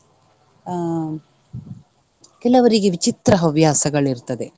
ಹ್ಮ್ ಕೆಲವರಿಗೆ ವಿಚಿತ್ರ ಹವ್ಯಾಸಗಳು ಇರ್ತದೆ.